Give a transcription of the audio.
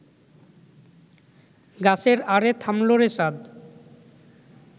গাছের আড়ে থামল রে চাঁদ